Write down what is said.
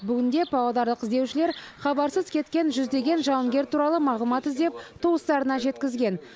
бүгінде павлодарлық іздеушілер хабарсыз кеткен жүздеген жауынгер туралы мағлұмат іздеп туыстарына жеткізген